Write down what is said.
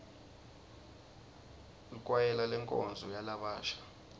likwayela lenkonzo yalabasha